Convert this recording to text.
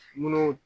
Munnu